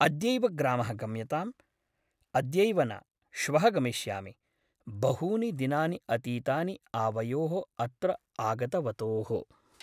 अद्यैव ग्रामः गम्यताम् । अद्यैव न । श्वः गमिष्यामि । बहूनि दिनानि अतीतानि आवयोः अत्र आगतवतोः ।